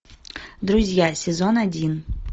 друзья сезон один